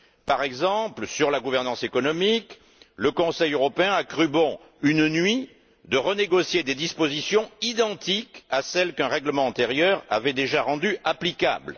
Par exemple, sur la gouvernance économique, le Conseil européen a cru bon, une nuit, de renégocier des dispositions identiques à celles qu'un règlement antérieur avait déjà rendues applicables.